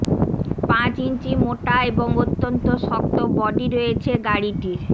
পাঁচ ইঞ্চি মোটা এবং অত্যন্ত শক্ত বডি রয়েছে গাড়িটির